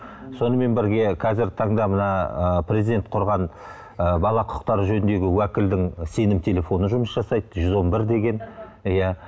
сонымен бірге қазіргі таңда мына ы президент құрған ы бала құқықтары жөніндегі уәкілдің сенім телефоны жұмыс жасайды жүз он бір деген иә